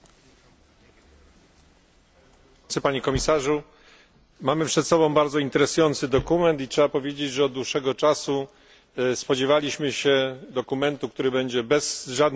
Mamy przed sobą bardzo interesujący dokument i trzeba powiedzieć, że od dłuższego czasu spodziewaliśmy się dokumentu, który będzie bez żadnych liczb, i tu Komisja dotrzymała słowa.